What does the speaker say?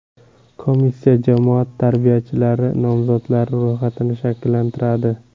Komissiya jamoat tarbiyachilari nomzodlari ro‘yxatini shakllantiradi.